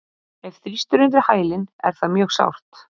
Ef þrýst er undir hælinn er það mjög sárt.